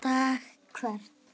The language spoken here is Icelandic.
dag hvern